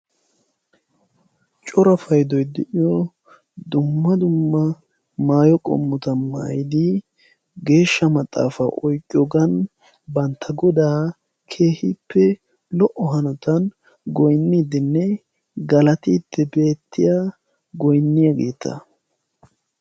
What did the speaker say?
Cora payddoy de'iyo dumma dumma maayyo qommota maayyidi geeshsha maxaafa oyqqiyoogan bantta Goda lo''o hanotan goynidenne galatiddi beettiyaa goynniyaageeta.